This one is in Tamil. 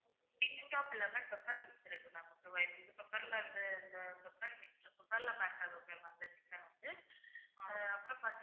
kickstock lemon pepper mix இருக்கு ma'am pepper ல வந்து அந்த chicken வந்து அப்புறம் பாத்தீங்கன்னா